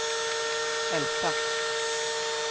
Älta